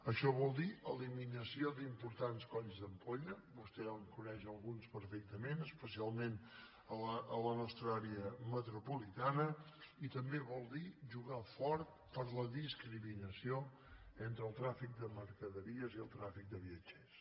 això vol dir eliminació d’importants colls d’ampolla vostè en coneix alguns perfectament especialment a la nostra àrea metropolitana i també vol dir jugar fort per la discriminació entre el trànsit de mercaderies i el trànsit de viatgers